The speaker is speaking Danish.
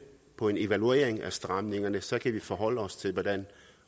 på en evaluering af stramningerne for så kan vi forholde os til hvordan